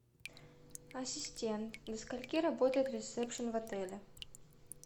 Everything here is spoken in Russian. ассистент до скольки работает ресепшн в отеле